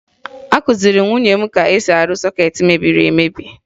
Akụziri m nwunye m ka e si arụ sọkeetị mebiri emebi